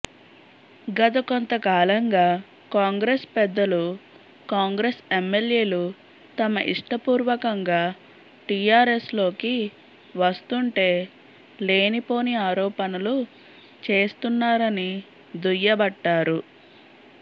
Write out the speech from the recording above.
గత కొంత కాలంగా కాంగ్రెస్ పెద్దలు కాంగ్రెస్ ఎమ్మెల్యేలు తమ ఇష్టపూర్వకంగా టిఆర్ఎస్లోకి వస్తుంటే లేనిపోని ఆరోపణలు చేస్తున్నారని దుయ్యబట్టారు